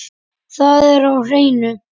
Það er á hreinu.